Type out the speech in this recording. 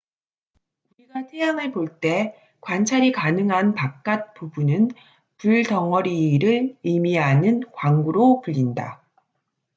"우리가 태양을 볼 때 관찰이 가능한 바깥 부분은 "불덩어리""를 의미하는 광구로 불린다.